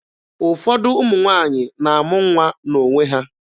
Ụfọdụ ụmụ nwaanyị na-amụ nwa n'onwe ha.